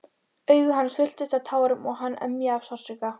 Augu hans fylltust tárum og hann emjaði af sársauka.